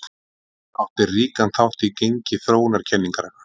Hann átti ríkan þátt í gengi þróunarkenningarinnar.